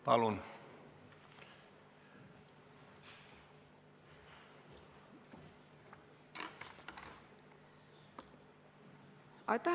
Palun!